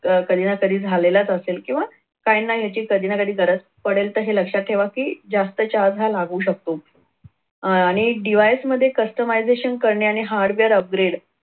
अह तसं कधी ना कधी झालेलाच असेल किंवा काही ना काही याची गरज पडेल तर हे लक्षात ठेवा कि जास्त charge हा लागू शकतो आणि device मध्ये customization करणे आणि hardware upgrade